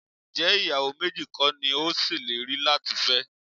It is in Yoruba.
Ǹjẹ́ ìyàwó méjì kọ́ ni o ṣèlérí láti fẹ́?